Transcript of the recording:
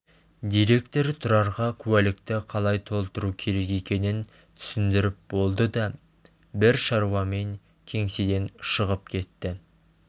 директор тұрарға куәлікті қалай толтыру керек екенін түсіндіріп болды да бір шаруамен кеңседен шығып кетті